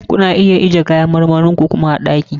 Kuna iya kuma ajiyar kayan marmarin ku a ɗaki.